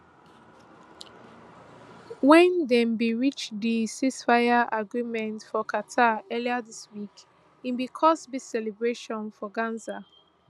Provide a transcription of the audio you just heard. wen dem bin reach di ceasefire agreement for qatar earlier dis week e bin cause big celebrations for gaza